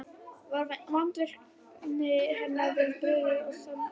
Var vandvirkni hennar við brugðið og smekkvísi.